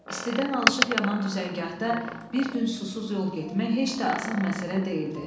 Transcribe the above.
İstidən alışıb-yanan düzəngahda bir gün susuz yol getmək heç də asan məsələ deyildi.